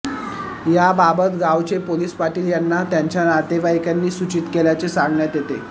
याबाबत गावचे पोलीस पाटील यांना त्यांच्या नातेवाईकांनी सूचित केल्याचे सांगण्यात येते